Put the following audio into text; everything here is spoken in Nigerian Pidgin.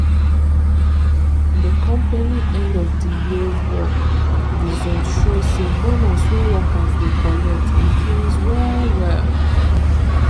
the company end of the year work result show say bonus wey workers dey collect increase well well